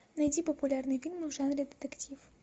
найди популярные фильмы в жанре детектив